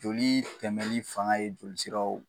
Joli tɛmɛli fanga ye jolisiraw